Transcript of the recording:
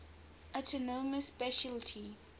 autonomous specialty